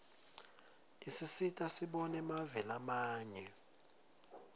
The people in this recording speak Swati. isisita sibone mave lamanye